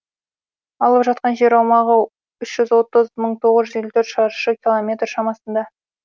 алып жатқан жер аумағы үш жүз отыз мың тоғыз елу төрт шаршы километр шамасында